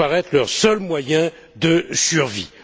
leur seul moyen de survie.